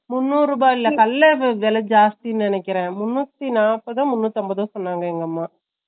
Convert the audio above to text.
முண்ணூறு ரூபா இல்ல கல்ல வேலை ஜாச்த்தினு நினைக்குறேன் முன்னுத்தி நப்பட்தோ முன்னுத்தி அம்பதோ சொன்னாங்க எங்க அம்மா